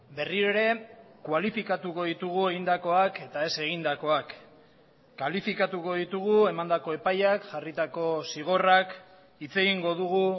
berriro ere kualifikatuko ditugu egindakoak eta ez egindakoak kalifikatuko ditugu emandako epaiak jarritako zigorrak hitz egingo dugu